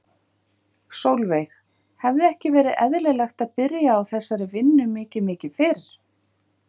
Sólveig: Hefði ekki verið eðlilegt að byrja á þessari vinnu mikið mikið fyrr?